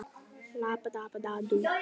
Mæður iðrast.